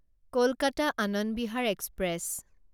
Kolkata Anand Vihar express